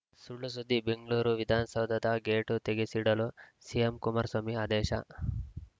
ಸುಳ್‌ಸುದ್ದಿ ಬೆಂಗ್ಳೂರು ವಿಧಾನಸೌಧದ ಗೇಟು ತೆಗೆಸಿಡಲು ಸಿಎಂ ಕುಮಾರಸ್ವಾಮಿ ಆದೇಶ